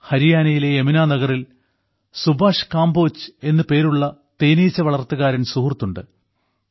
ഹരിയാനയിലെ യമുനാ നഗറിൽ സുഭാഷ് കംബോജ് എന്നു പേരുള്ള തേനീച്ച വളർത്തുകാരൻ സുഹൃത്തുണ്ട്